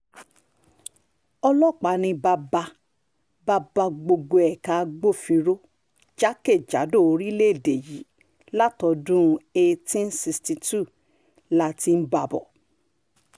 ọlọ́pàá ni bàbá-bàbà gbogbo ẹ̀ka agbófinró jákè-jádò orílẹ̀‐èdè yìí látọdún one thousand eight hundred sixty two la ti ń bá a bọ̀